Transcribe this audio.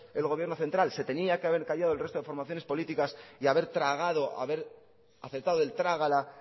el gobierno central se tenían que haber callado el resto de formaciones políticas y haber tragado haber aceptado el trágala